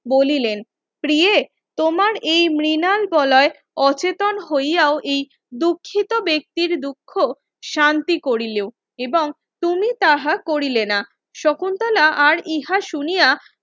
বলিলেন প্রিয়ে তোমার এই মৃনাল গলায় অচেতন হইয়াও এই দুঃখিত ব্যক্তির দুঃখ শান্তি করিলেও এবং তুমি তাহা করিলে না শকুন্তলা আর ইহা শুনিয়া